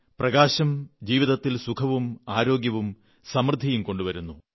പ്രകാശം ജീവിതത്തിൽ സുഖവും ആരോഗ്യവും സമൃദ്ധിയും കൊണ്ടുവരുന്നു